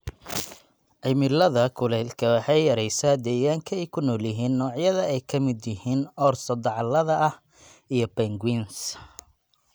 Cimilada kuleylku waxay yaraysaa deegaanka ay ku nool yihiin noocyada ay ka midka yihiin orso dacallada ah iyo penguins.